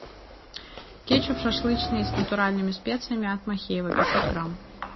кетчуп шашлычный с натуральными специями от махеева пятьсот грамм